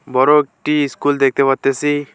বড়ো একটি ইস্কুল দেখতে পারতেসি।